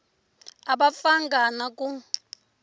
a va pfanga na ku